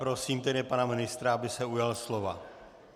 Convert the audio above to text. Prosím tedy pana ministra, aby se ujal slova.